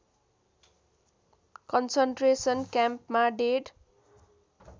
concentration क्याम्पमा डेढ